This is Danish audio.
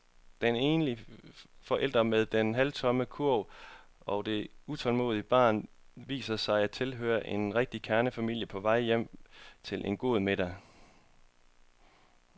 Den enlige forælder med den halvtomme kurv og det utålmodige barn viser sig at tilhøre en rigtig kernefamilie på vej hjem til en god middag.